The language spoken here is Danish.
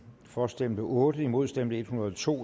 for stemte otte imod stemte en hundrede og to